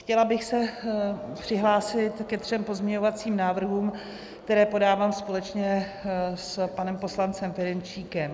Chtěla bych se přihlásit ke třem pozměňovacím návrhům, které podávám společně s panem poslancem Ferjenčíkem.